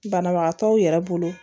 Banabagatɔw yɛrɛ bolo